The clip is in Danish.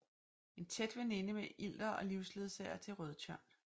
En tæt veninde med Ilder og livsledsager til Rødtjørn